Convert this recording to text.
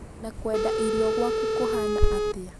na kwenda irio gwaku kũhana atĩa?